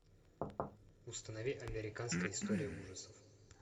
установи американская история ужасов